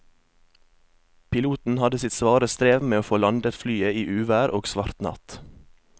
Piloten hadde sitt svare strev med å få landet flyet i uvær og svart natt.